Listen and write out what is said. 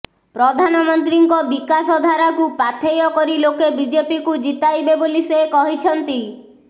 ପ୍ରଧାନମନ୍ତ୍ରୀଙ୍କ ବିକାଶଧାରକୁ ପାଥେୟ କରି ଲୋକେ ବିଜେପିକୁ ଜିତାଇବେ ବୋଲି ସେ କହିଛନ୍ତି